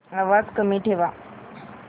आवाज कमी ठेवा